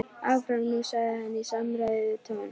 Áfram nú sagði hann í samræðutón.